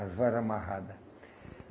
As vara amarrada.